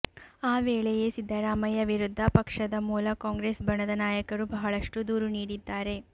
ಆ ವೇಳೆಯೇ ಸಿದ್ದರಾಮಯ್ಯ ವಿರುದ್ಧ ಪಕ್ಷದ ಮೂಲ ಕಾಂಗ್ರೆಸ್ ಬಣದ ನಾಯಕರು ಬಹಳಷ್ಟು ದೂರು ನೀಡಿದ್ದಾರೆ